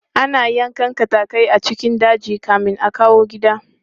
Ana yankan katatai a cikin daji kamin a kawo gida.